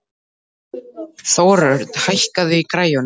Þórörn, hækkaðu í græjunum.